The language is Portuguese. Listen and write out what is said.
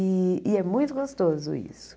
E e é muito gostoso isso.